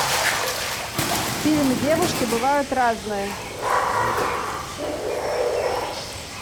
фильм девушки бывают разные